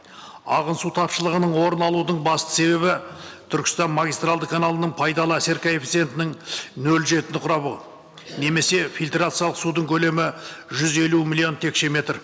ағын су тапшылығының орын алудың басты себебі түркістан магистральды каналының пайдалы әсер коэффициентінің нөл жетіні құрауы немесе фильтрациялық судың көлемі жүз елу миллион текшеметр